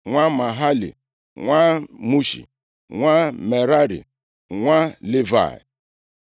nwa Mahali, nwa Mushi, nwa Merari, nwa Livayị.